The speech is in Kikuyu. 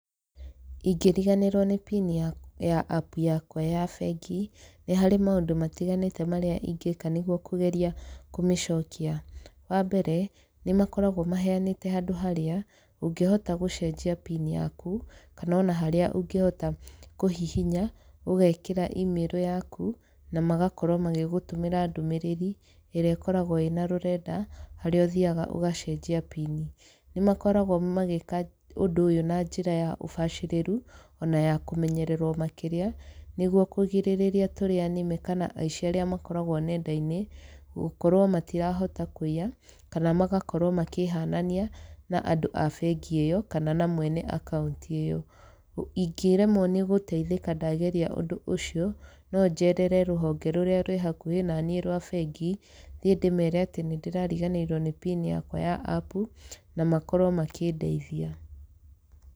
Ingĩriganĩrwo nĩ pini ya app yakwa ya bengi, nĩ harĩ maũndũ matiganĩte marĩa ingĩka nĩguo kũgeria kũmĩcokia. Wa mbere, nĩ makoragwo maheanĩte handũ harĩa, ũngĩhota gũcenjia pini yaku, kana ona harĩa ũngĩhota kũhihinya, ũgekĩra email yaku, na magakorwo magĩgũtũmĩra ndũmĩrĩri, ĩrĩa ĩkoragwo ĩna rũrenda, harĩa ũthiaga ũgacenjia pini. Nĩ makoragwo magĩka ũndũ ũyũ na njĩra ya ũbacĩrĩru, ona ya kũmenyererwo makĩria, nĩguo kũgirĩrĩria tũrĩa nĩme kana aici arĩa makoragwo nenda-inĩ, gũkorwo matirahota kũiya, kana magakorwo makĩhanania na andũ a bengi ĩyo kana na mwene akaunti ĩyo. Ingĩremwo nĩ gũteithĩka ndageria ũndũ ũcio, no njerere rũhonge rũrĩa rwĩ hakuhĩ na niĩ rwa bengi, thiĩ ndĩmere atĩ nĩ ndĩrariganĩirwo nĩ pini yakwa ya app, na makorwo makĩndeithia.